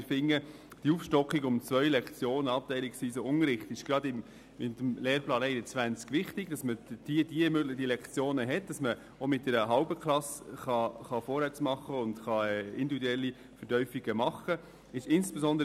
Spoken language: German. Wir finden die Aufstockung um zwei Lektionen gerade im Lehrplan 21 wichtig, damit man mit einer halben Klasse gezielter vorwärtskommt und individuelle Vertiefungen möglich sind.